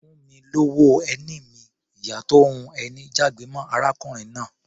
"Fún mi lówó ẹni mi!", ìyá tó ń hun ẹni jágbe mọ́ arákùnrin náà.